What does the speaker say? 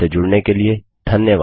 हमसे जुड़ने के लिए धन्यवाद